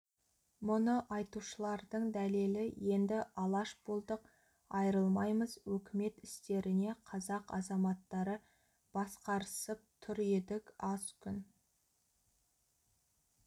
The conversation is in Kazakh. мұны айтушылардың дәлелі енді алаш болдық айрылмаймыз өкімет істерінде қазақ азаматтары басқарысып тұр едік аз күн